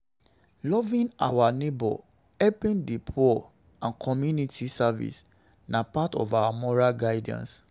Loving our neighbour, helping di poor and community service na part of moral guidance